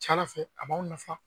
fɛ a b'aw nafa